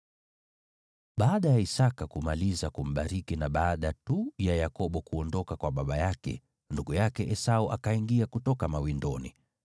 Baada ya Isaki kumaliza kumbariki na baada tu ya Yakobo kuondoka kwa baba yake, ndugu yake Esau akaingia kutoka mawindoni.